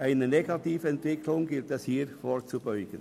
Einer Negativentwicklung gilt es hier vorzubeugen.